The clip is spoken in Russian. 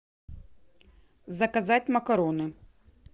заказать макароны